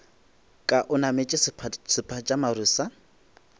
ka o nametše sephatšamaru sa